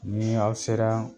Ni aw sera